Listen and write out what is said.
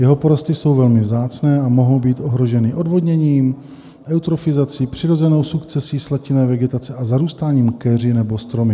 Jeho porosty jsou velmi vzácné a mohou být ohroženy odvodněním, eutrofizací, přirozenou sukcesí slatinné vegetace a zarůstáním keři nebo stromy.